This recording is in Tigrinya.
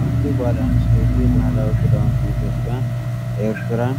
ሓንቲ ጓል ኣንስተይቲ ባህላዊ ክዳውንቲ ኢትዮጵያ/ኤርትራን